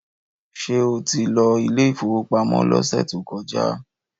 Ṣé o ti lọ ilé ìfowópamọ́ lọ́sẹ̀ tó kọjá?